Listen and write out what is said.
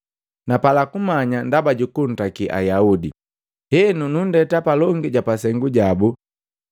Napala kumanya ndaba jukuntaki Ayaudi, henu nunndeta palongi ja pasengu jabu.